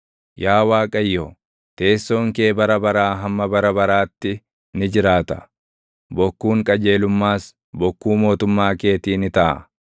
Yaa Waaqayyo, teessoon kee bara baraa hamma bara baraatti ni jiraata; bokkuun qajeelummaas bokkuu mootummaa keetii ni taʼa.